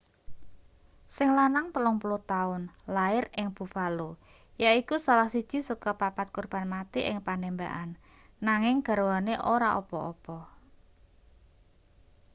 sing lanang 30 taun lair ing buffalo yaiku salah siji saka papat korban mati ing panembakan nanging garwane ora apa-apa